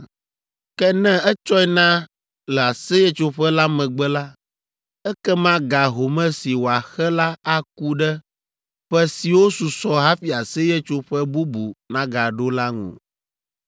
Ke ne etsɔe na le Aseyetsoƒe la megbe la, ekema ga home si wòaxe la aku ɖe ƒe siwo susɔ hafi Aseyetsoƒe bubu nagaɖo la ŋu.